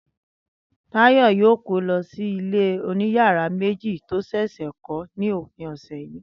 Táyò̩ yóò kó lo̩ sí ilé oniyara-meji tí ó ṣẹ̀ṣẹ̀ kó̩ ní òpin òsè̩ yìí